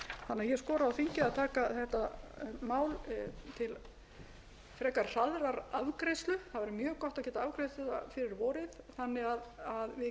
ég skora á þingið að taka þetta mál til frekar hraðrar afgreiðslu það er mjög gott að geta afgreitt það fyrir vorið þannig að við gætum farið að